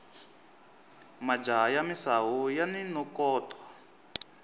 majaha ya misawu yani nokoto